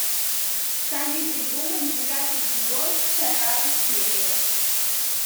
камеди вумен девятый сезон вторая серия